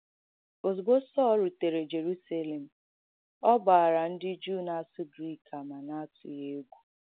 Ọ̀zùgbọ̀ Sọl rụ̀tērē Jèrùsélèm, ọ gbàarà ndị Jùụ na-àsụ́ grīk àmà n’àtùgī égwụ.